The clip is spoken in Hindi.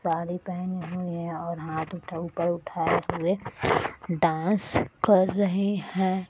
साड़ी पहनी हुई है और हाथ उठा ऊपर उठा है इसीलिए डांस कर रही हैं ।